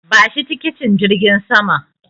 Bashi tikitin jirgin saman.